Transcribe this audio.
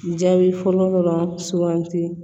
Jaabi fɔlɔ dɔrɔn sugandi